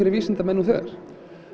vísindamenn nú þegar